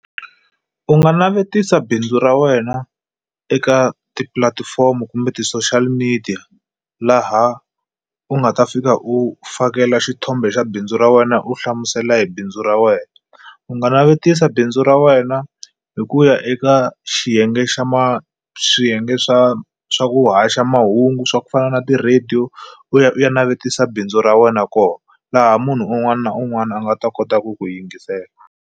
U nga navetisa bindzu ra wena eka tipulatifomo kumbe ti-social media laha u nga ta fika u fakela xithombe xa bindzu ra wena u hlamusela hi bindzu ra wena u nga navetisa bindzu ra wena hi ku ya eka xiyenge xa swiyenge swa swa ku haxa mahungu swa ku fana na ti-radio u ya u ya navetisa bindzu ra wena kona laha munhu un'wana na un'wana a nga ta kota ku ku yingisela.